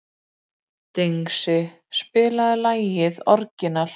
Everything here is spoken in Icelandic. Dengsi, spilaðu lagið „Orginal“.